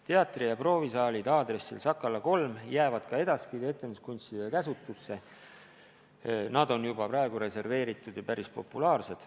Teatri- ja proovisaalid aadressil Sakala 3 jäävad ka edaspidi etenduskunsti esindajate käsutusse, need on juba praegu reserveeritud ja päris populaarsed.